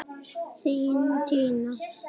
Þín Tinna.